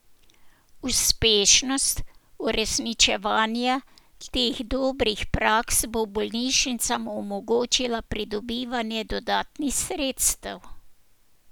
Uspešnost uresničevanja teh dobrih praks bo bolnišnicam omogočila pridobivanje dodatnih sredstev.